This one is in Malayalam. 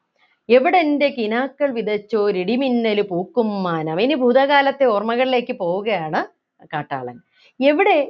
എവിടെൻ്റെ കിനാക്കൾ വിതച്ചോരിടിമിന്നലു പൂക്കും മാനം ഇനി ഭൂതകാലത്തെ ഓർമകളിലേക്ക് പോവുകയാണ് കാട്ടാളൻ എവിടെ